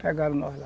Pegaram nós lá.